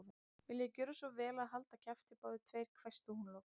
Viljiði gjöra svo vel að halda kjafti, báðir tveir hvæsti hún loks.